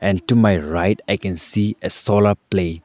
and to my right i can see a solar play.